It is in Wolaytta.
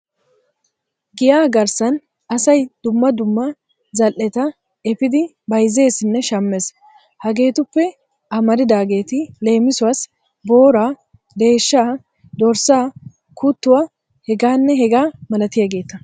Giya garssan asay dumma dumma zal"eta efiidi bayzzesinne shammees. Hegeetuppe amaridaageeti leemisuwassi ;- booraa, deeshshaa, dorssaa kuttuwa hegaanne hegaa malatiyageeta.